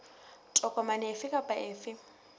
tokomane efe kapa efe e